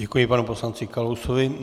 Děkuji panu poslanci Kalousovi.